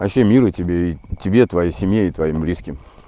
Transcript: вообще мира тебе и тебе твоей семье и твоим близким